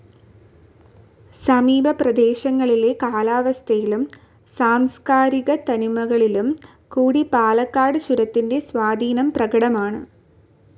സമീപപ്രദേശങ്ങളിലെ കാലാവസ്ഥയിലും സാംസ്ക്കാരികത്തനിമകളിലും കൂടി പാലക്കാട് ചുരത്തിൻ്റെ സ്വാധീനം പ്രകടമാണ്.